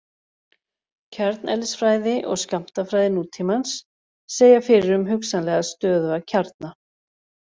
Kjarneðlisfræði og skammtafræði nútímans segja fyrir um hugsanlega stöðuga kjarna.